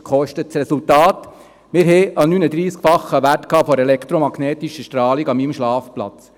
Das Resultat: Wir hatten einen 39-fachen Wert der elektromagnetischen Strahlung an meinem Schlafplatz.